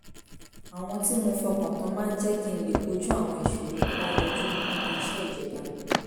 àwọn tí mo fọkàn tán máa ń jẹ́ kí n lè kojú àwọn ìṣòro tó bá yọjú níbi iṣẹ́ ìjọba